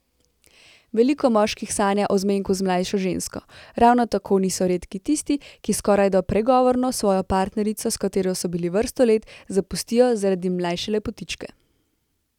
Veliko moških sanja o zmenku z mlajšo žensko, ravno tako niso redki tisti, ki skorajda pregovorno svojo partnerico, s katero so bili vrsto let, zapustijo zaradi mlajše lepotičke.